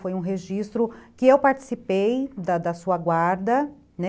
Foi um registro que eu participei da da sua guarda, né?